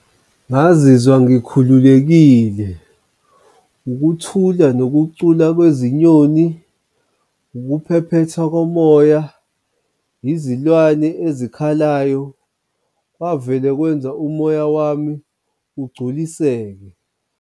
Ngazizwa ngikhululekile ukuthula nokucula kwezinyoni, ukuphephethwa komoya, izilwane ezikhalayo, kwavele kwenza umoya wami ugculiseke.